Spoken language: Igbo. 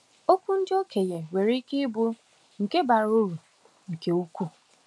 Okwu ndị okenye nwere ike ịbụ nke bara uru nke ukwuu.